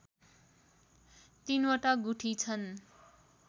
तीनवटा गुठी छन्